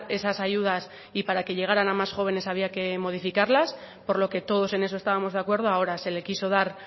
esas ayudas y para que llegaran a más jóvenes había que modificarles por lo que todos en eso estábamos de acuerdo ahora se le quiso dar